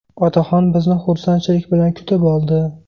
Otaxon bizni xursandchilik bilan kutib oldi.